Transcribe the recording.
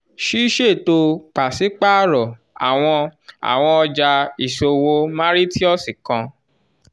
ṣiṣeto paṣipaarọ awọn awọn ọja isowo mauritius kan